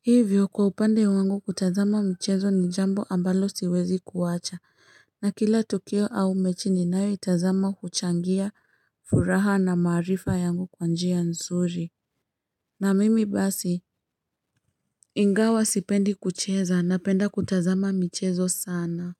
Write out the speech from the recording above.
Hivyo kwa upande wangu kutazama michezo ni jambo ambalo siwezi kuwacha. Na kila tukio au mechi ninayoitazama huchangia furaha na maarifa yangu kwa njia nzuri. Na mimi basi, ingawa sipendi kucheza napenda kutazama michezo sana.